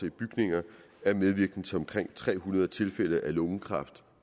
i bygninger er medvirkende til omkring tre hundrede tilfælde af lungekræft